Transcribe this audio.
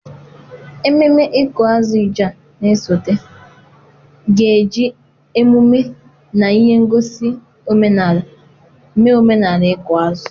Ememme ịkụ azụ Ijaw na-esote ga-eji emume na ihe ngosi omenala mee omenala ịkụ azụ.